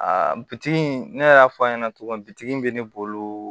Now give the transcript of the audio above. A bitigi ne yɛrɛ y'a fɔ a ɲɛna cogo min bi tigi bɛ ne bolo